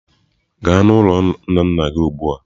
Gaa n'ụlọ nna nna gị ugbu a!.